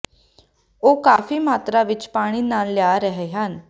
ਉਹ ਕਾਫ਼ੀ ਮਾਤਰਾ ਵਿੱਚ ਪਾਣੀ ਨਾਲ ਲਿਆ ਰਹੇ ਹਨ